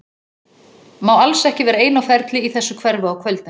Má alls ekki vera ein á ferli í þessu hverfi á kvöldin.